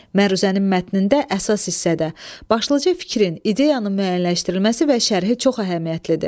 Məruzənin mətnində əsas hissədə başlıca fikrin, ideyanın müəyyənləşdirilməsi və şərhi çox əhəmiyyətlidir.